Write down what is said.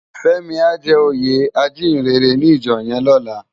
Femi á jè óyé ájiyinrèrè ni ijò yèn lòlá